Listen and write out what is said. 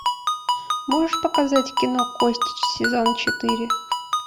можешь показать кино кости сезон четыре